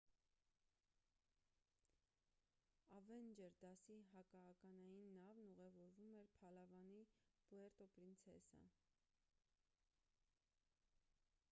ավենջեր դասի հակաականային նավն ուղևորվում էր փալավանի պուերտո պրինցեսա